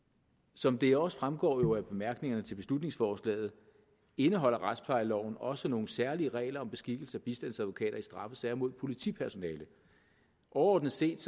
som det også fremgår af bemærkningerne til beslutningsforslaget indeholder retsplejeloven også nogle særlige regler om beskikkelse af bistandsadvokater i straffesager mod politipersonale overordnet set